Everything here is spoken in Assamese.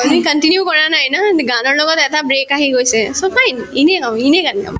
তুমি continue কৰা নাই গানৰ লগত এটা break আহি গৈছে so fine গান গাম